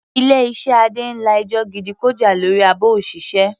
Ilé iṣẹ́ Adé ń la ẹjọ́ gidi kọjá lórí àbò òṣìṣẹ́.